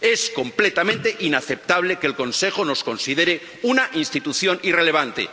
Es completamente inaceptable que el Consejo nos considere una institución irrelevante.